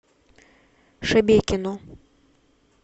шебекино